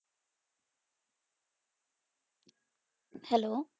Hello